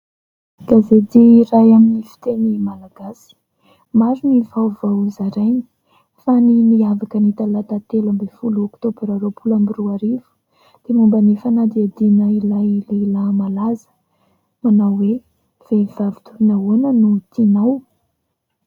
Gazety iray amin'ny fiteny Malagasy. Maro ny vaovao zarainy fa ny niavaka ny Talata 13 Oktobra 2020 dia momba ny fanadihadina ilay lehilahy malaza manao hoe : vehivavy toy ny ahoana no tianao?